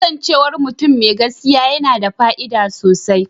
Kasancewar mutum mai gaskiya yana da fa'ida sosai.